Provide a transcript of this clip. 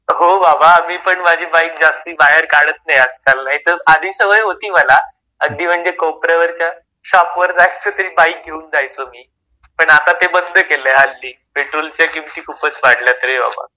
हो बाबा मी माझी बाईक जास्ती बाहेर काढत नाही आज-काल नाहीतर आधी सवय होती मला अगदी म्हणजे कोपऱ्यावरच्या शॉप वर जायचं तरी बाईक घेऊन जायचं मी पण आता ते बंद केलंय हल्ली पेट्रोलच्या किमती खूपच वाढल्या आहेत रे बाबा.